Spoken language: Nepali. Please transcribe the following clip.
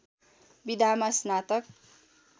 विधामा स्नातक